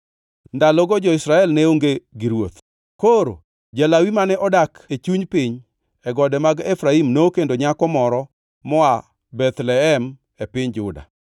Ndalogo jo-Israel ne onge gi ruoth. Koro ja-Lawi mane odak e chuny piny e gode mag Efraim nokendo nyako moro moa Bethlehem e piny Juda.